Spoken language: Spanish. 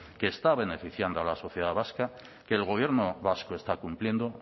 que está beneficiando a la sociedad vasca que el gobierno vasco está cumpliendo